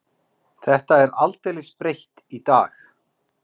Þetta er aldeilis breytt í dag?